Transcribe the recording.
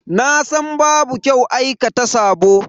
Nasan babu kyau aikata sabo.